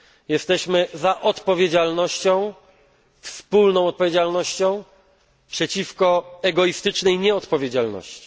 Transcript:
Jesteśmy za odpowiedzialnością, wspólną odpowiedzialnością przeciwko egoistycznej nieodpowiedzialności.